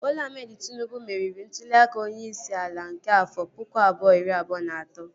Bọla Ahmed Tịnubụ meriri ntụli aka onyeisi ala nke afọ pụkụ abụọ, iri abụọ na atọ